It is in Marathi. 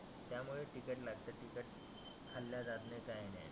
त्यामुळे बिघडलं असेल तीखट खाल्ल्या जात नाही काही नाही.